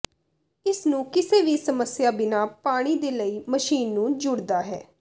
ਇਸ ਨੂੰ ਕਿਸੇ ਵੀ ਸਮੱਸਿਆ ਬਿਨਾ ਪਾਣੀ ਦੇ ਲਈ ਮਸ਼ੀਨ ਨੂੰ ਜੁੜਦਾ ਹੈ